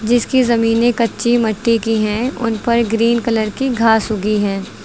जिसकी जमीनें कच्ची मट्टी की है उनपर ग्रीन कलर की घास उगी है।